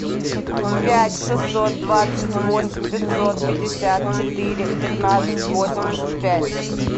пять шестьсот двадцать восемь пятьсот пятьдесят четыре пятнадцать восемьдесят пять